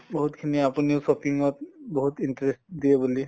বহুত খিনি আপোনিও shopping ত বহুত interest দিয়ে বুলি